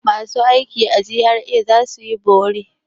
Masu aiki a GRA za su yi bore.